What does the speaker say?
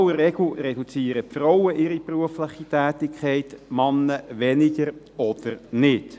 In aller Regel reduzieren die Frauen ihre berufliche Tätigkeit, die Männer tun dies seltener oder gar nicht.